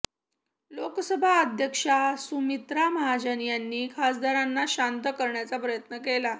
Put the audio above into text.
लोकसभा अध्यक्षा सुमित्रा महाजन यांनी खासदारांना शांत करण्याचा प्रयत्न केला